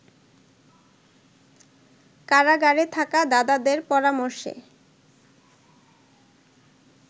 কারাগারে থাকা দাদাদের পরামর্শে